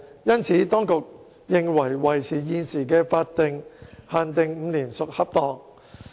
因此，當局認為維持現時的法定限定5年屬恰當。